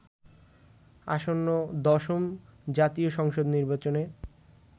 আসন্ন দশম জাতীয় সংসদ নির্বাচনে